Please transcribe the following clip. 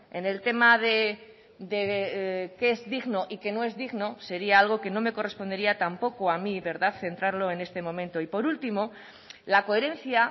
en el tema de qué es digno y qué no es digno sería algo que no me correspondería tampoco a mí centrarlo en este momento y por último la coherencia